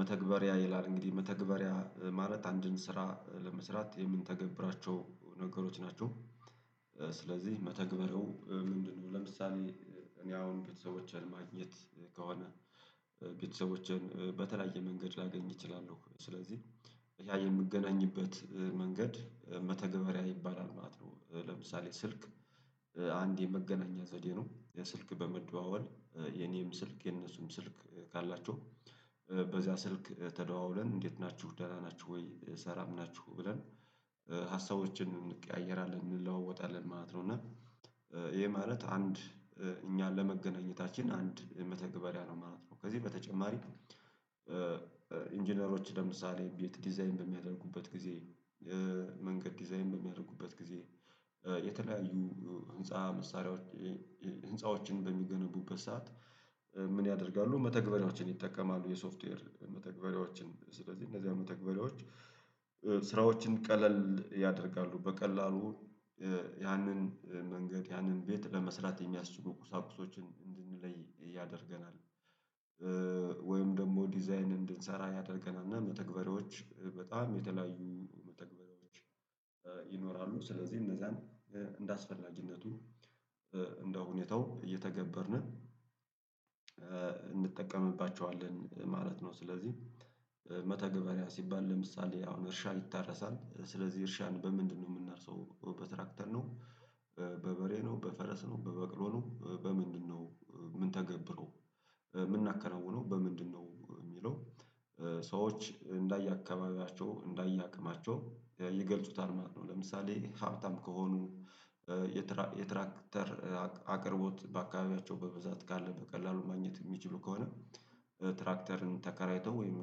መተግበሪያ ይላል እንግዲህ መተግበሪያ ማለት አንድን ስራ ለመስራት የምንተገብራቸው ነገሮች ናቸው። ስለዚህ መተግበሪው ምንድን ነው? ለምሳሌ እኔ አሁን ቤተሰቦቼን ማግኘት ከሆነ ቤተሰቦቼን በተለያየ መንገድ ላገኝ እችላለሁ ስለዚህ ያ የምገናኝበት መንገድ መተገበሪያ ይባላል ማለት ነው። ለምሳሌ ስልክ አንድ የመገናኛ ዘዴ ነው የስልክ በመደዋወል የኔም ስልክ የነሱም ስልክ ካላቸው በዛ ስልክ ተደዋውለን እንዴት ናችሁ ደህና ናችሁ ወይ ሰላም ናችሁ ብለን ሃስቦችን እንቀያየራለን እንለዋወጣለን ማለት ነው። እና ይሄ ማለት አንድ እኛን ለመገናኘታችን አንድ መተግበሪያ ነው ማለት ነው። ከዚህ በተጨማሪ ኢንጂነሮች ለምሳሌ ቤት ዲዛይን በሚያደርጉበት ጊዜ መንገድ ዲዛይን በሚያደርጉበት ጊዜ የተለያዩ ህንፃ መሳሪያዎች ህንፃዎችን በሚገነቡበት ሰዓት ምን ያደርጋሉ መተግበሪያዎችን ይጠቀማሉ የሶፍትዌር መተግበሪያዎችን ስለዚህ እነዚያ መተግበሪያዎች ስራዎችን ቀለል ያደርጋሉ በቀላሉ ያንን መንገድ ያንን ቤት ለመስራት የሚያስችሉ ቁሳቁሶችን እንድንለይ ያደርገናል። ወይም ደግሞ ዲዛይን እንድንሰራ ያደርገናል እና መተግበሪያዎች በጣም የተለያዩ መተግበሪያዎች ይኖራሉ ስለዚህ እነዛን እንደ አስፈላጊነቱ እንደሁኔታው እየተገበርነ እንጠቀምባቸዋለን ማለት ነው። ስለዚህ መተገበሪያ ሲባል ለምሳሌ አሁን እርሻ ይታረሳል ስለዚህ እርሻን በምንድነው የምናርሰው በትራክተር ነው። በበሬ ነው በፈረስ ነው በበቅሎ ነው በምንድነው ምንተገብረው ምናከናውነው በምንድነው የሚለው? ሰዎች እንደየ አካባቢያቸው እንደየ አቅማቸው ይገልጹታል ማለት ነው። ለምሳሌ ሀብታም ከሆኑ የትራክተር አቅርቦት በአካባቢያቸው በብዛት ካለ በቀላሉ ማግኘት የሚችሉ ከሆነ ትራክተርን ተከራይተው ወይም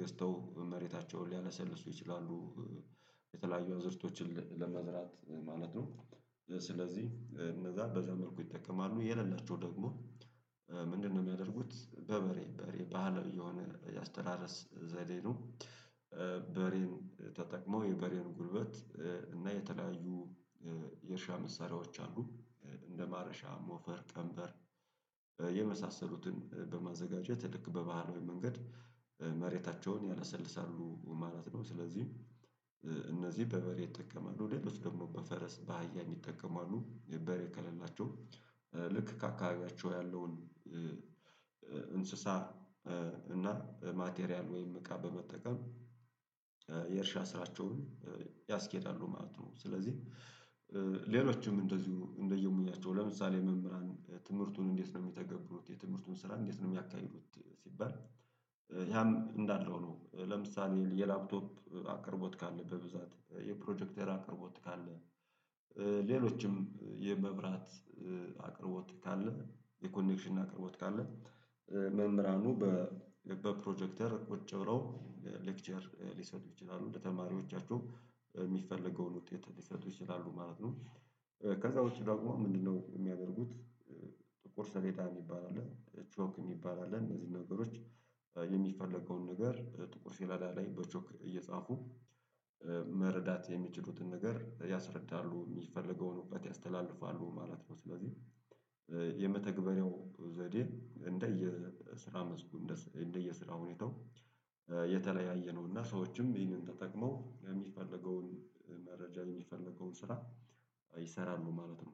ገዝተው መሬታቸውን ሊያለሰልሱ ይችላሉ። የተለያዩ አዝዕርቶችን ለመዝራት ማለት ነው ስለዚህ እነዛ በዛ መልኩ ይጠቀማሉ የሌላቸው ደግሞ ምንድነው? የሚያደርጉት በበሬ በሬ ባህላዊ የሆነ የአስተራረስ ዘዴ ነው። በሬን ተጠቅሞ የበሬን ጉልበት እና የተለያዩ የእርሻ መሳሪያዎች አሉ እንደ ማረሻ ሞፈር ቀንበር የመሳሰሉትን በማዘጋጀት ልክ በባህላዊ መንገድ መሬታቸውን ያላሰልሳሉ ማለት ነው። ስለዚህ እነዚህ በበሬ ይጠቀማሉ ሌሎች ደግሞ በፈረስ በአህያ የሚጠቀሙ አሉ በሬ ከሌላቸው ልክ ከአካባቢያቸው ያለውን እንስሳ እና ማቴሪያል ወይም እቃ በመጠቀም የእርሻ ስራቸውን ያስኬዳሉ ማለት ነው። ስለዚህ ሌሎችም እንደዚሁ እንደየሙያቸው ለምሳሌ መምህራን ትምህርቱን እንዴት ነው የሚተገብሩት የትምህርቱን ስራ እንዴት ነው የሚያካሂዱት? ሲባል ያም እንዳልነው ነው። ለምሳሌ የላፕቶፕ አቅርቦት ካለ በብዛት የፕሮጀክተር አቅርቦት ካለ ሌሎችም የመብራት አቅርቦት ካለ የኮኔክሽን አቅርቦት ካለ መምህራኑ በፕሮጀክተር ቁጭ ብለው ሌክቸር ሊሰጡ ይችላሉ ለተማሪዎቻቸው የሚፈለገውን ውጤት ሊሰጡ ይችላሉ ማለት ነው። ከዛ ውጪ ደግሞ ምንድነው? የሚያደርጉት ጥቁር ሰሌዳ የሚባል አለ ቾክ የሚባል አለ እነዚህን ነገሮች የሚፈለገውን ነገር ጥቁር ሲለዳ ላይ በቾክ እየጻፉ መረዳት የሚችሉትን ነገር ያስረዳሉ የሚፈልገውን ዕውት ያስተላልፋሉ ማለት ነው። ስለዚህ የመተግበሪያው ዘዴ እንደየ ስራ መስኩ እንደየ ስራ ሁኔታው የተለያየ ነው። እና ሰዎችም ይህንን ተጠቅመው የሚፈለገውን መረጃ የሚፈለገውን ስራ ይሰራሉ ማለት ነው።